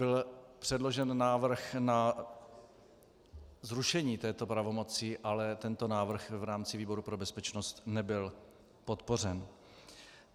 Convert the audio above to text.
Byl předložen návrh na zrušení této pravomoci, ale tento návrh v rámci výboru pro bezpečnost nebyl podpořen.